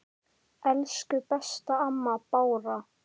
Elsku besta amma Bára.